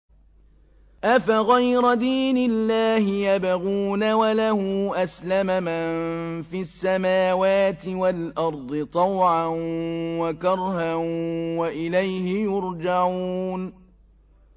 أَفَغَيْرَ دِينِ اللَّهِ يَبْغُونَ وَلَهُ أَسْلَمَ مَن فِي السَّمَاوَاتِ وَالْأَرْضِ طَوْعًا وَكَرْهًا وَإِلَيْهِ يُرْجَعُونَ